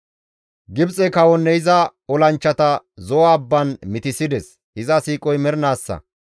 Gibxe kawonne iza olanchchata Zo7o abban mitissides; iza siiqoy mernaassa.